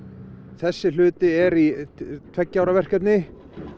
þessi hluti er í tveggja ára verkefni